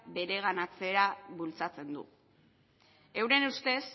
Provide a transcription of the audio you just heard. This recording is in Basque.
bereganatzea bultzatzen du euren ustez